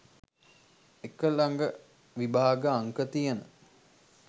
එක ළඟ විභාග අංක තියෙන